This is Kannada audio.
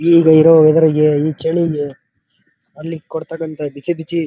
ಈಗ ಇರೋ ವೆದರ್ಗೆ ಈ ಚಳಿಗೆ ಅಲ್ಲಿ ಕೊಡ್ತಾಕಂತ ಬಿಸಿಬಿಚಿ --